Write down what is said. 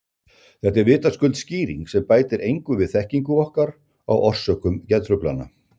Þetta er vitaskuld skýring sem bætir engu við þekkingu okkar á orsökum geðtruflana.